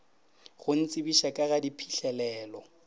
go ntsebiša ka ga diphihlelelo